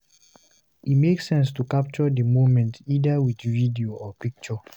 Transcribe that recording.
E make sense to capture di moment either with video or picture